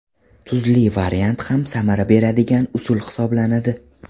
Tuzli variant ham samara beradigan usul hisoblanadi.